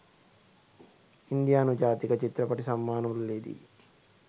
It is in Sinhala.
ඉන්දියානු ජාතික චිත්‍රපටි සම්මාන උළෙලෙදි